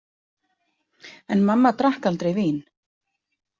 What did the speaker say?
En mamma drakk aldrei vín.